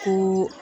Ko